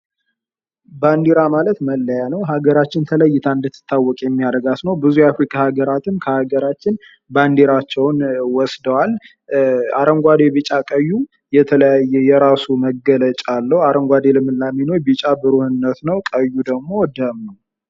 ባንድራ ማለት መለያ ነው። ሀገራችን ተለይታ እንድትታወቅ የሚያረጋት ነው። ብዙ የአፍሪካ ሀገራትም ከሀገራችን ባንድራቸውን ወስደዋል። አረንጓዴ ፣ቢጫ፣ ቀዩ የራሱ የሆነ መገለጫ አለው። አረንጓዴው ልምላሜ ነው። ቢጫ ብሩህነት ነው። ቀዩ ደግም ደም ነው።